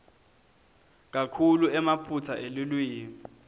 kakhulu emaphutsa elulwimi